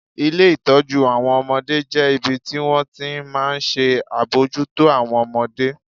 Ilé ìtọ́jú àwọn ọmọdé jẹ́ ibi tí wọ́n ti máa ń ṣe àbójútó àwọn ọmọdé